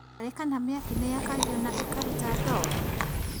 Ngarĩ kana mĩaki nĩyakagio na ĩkaruta ndogo?